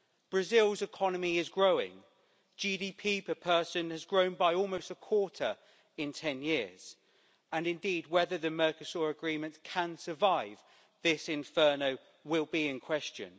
Brazil's economy is growing GDP per person has grown by almost a quarter in ten years and indeed, whether the Mercosur agreement can survive this inferno will be in question.